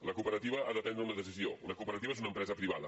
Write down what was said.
la cooperativa ha de prendre una decisió una cooperativa és una empresa privada